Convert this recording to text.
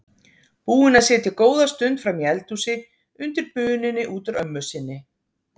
Búin að sitja góða stund frammi í eldhúsi undir bununni út úr ömmu sinni.